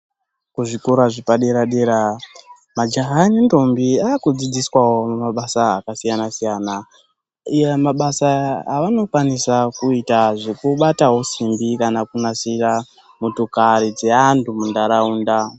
Kuzvikora zvepadera dera, majaya nentombi aakudzidziswawo mabasa akasiyana siyana, iya mabasa avanokwanisa kuita zvekubatawo simbi kana kunasira motokari dzeantu muntaraunda